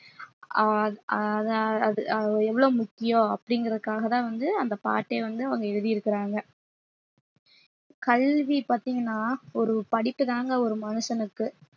ஆஹ் அத~ அது எவ்வளவு முக்கியம் அப்படிங்கறதுக்காகதான் வந்து அந்த பாட்டே வந்து அவங்க எழுதியிருக்கிறாங்க கல்வி பாத்தீங்கன்னா ஒரு படிப்புதாங்க ஒரு மனுஷனுக்கு